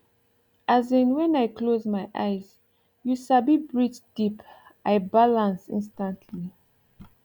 as in when i close my eyes you sabi breathe deep i balance instantly